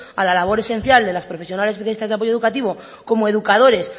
a la labor esencial de las profesionales especialistas de apoyo educativo como educadores